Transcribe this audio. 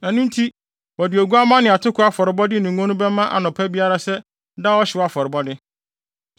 Ɛno nti wɔde oguamma ne atoko afɔrebɔde ne ngo no bɛma anɔpa biara sɛ daa ɔhyew afɔrebɔde.